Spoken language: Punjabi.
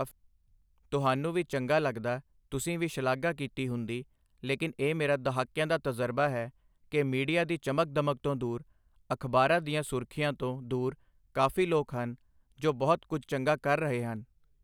ਤੁਹਾਨੂੰ ਵੀ ਚੰਗਾ ਲੱਗਦਾ, ਤੁਸੀਂ ਵੀ ਸ਼ਲਾਘਾ ਕੀਤੀ ਹੁੰਦੀ, ਲੇਕਿਨ ਇਹ ਮੇਰਾ ਦਹਾਕਿਆਂ ਦਾ ਤਜ਼ਰਬਾ ਹੈ, ਕਿ ਮੀਡੀਆ ਦੀ ਚਮਕ ਦਮਕ ਤੋਂ ਦੂਰ, ਅਖ਼ਬਾਰਾਂ ਦੀਆਂ ਸੁਰਖੀਆਂ ਤੋਂ ਦੂਰ ਕਾਫੀ ਲੋਕ ਹਨ, ਜੋ ਬਹੁਤ ਕੁੱਝ ਚੰਗਾ ਕਰ ਰਹੇ ਹਨ।